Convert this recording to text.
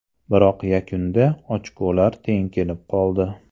Biroq yakunda ochkolar teng kelib qoldi.